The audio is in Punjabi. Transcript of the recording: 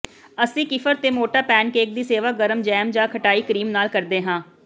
ਅਸੀਂ ਕੀਫਿਰ ਤੇ ਮੋਟਾ ਪੈਨਕੇਕ ਦੀ ਸੇਵਾ ਗਰਮ ਜੈਮ ਜਾਂ ਖਟਾਈ ਕਰੀਮ ਨਾਲ ਕਰਦੇ ਹਾਂ